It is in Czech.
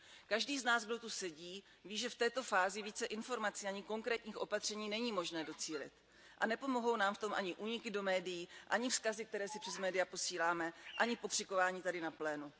Každý z nás, kdo zde sedí, ví, že v této fázi více informací ani konkrétních opatření není možné docílit. A nepomohou nám v tom ani úniky do médií ani vzkazy, které si přes média posíláme, ani pokřikování tady na plénu.